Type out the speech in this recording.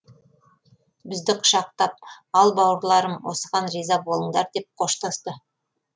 бізді құшақтап ал бауырларым осыған риза болыңдар деп қоштасты